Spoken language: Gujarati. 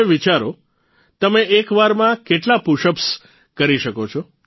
હવે વિચારો તમે એક વારમાં કેટલા પુશઅપ્સ કરી શકો છે